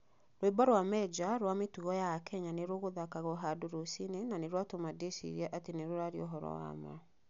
"Rwĩbo rwa Mejja rwa mĩtugo ya a Kenya nĩ rũgũthakagwo handorũcinĩ na nĩ rwa tũma nndĩcirie atĩ nĩ rũraria ũhoro wa ma!